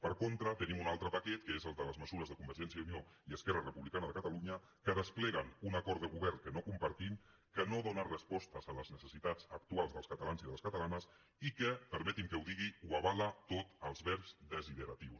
per contra tenim un altre paquet que és el de les me·sures de convergència i unió i esquerra republicana de catalunya que despleguen un acord de govern que no compartim que no dóna respostes a les necessitats actuals dels catalans i de les catalanes i que perme·tin·me que ho digui ho avala tot als verbs desidera·tius